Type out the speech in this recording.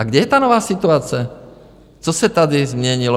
A kde je ta nová situace, co se tady změnilo?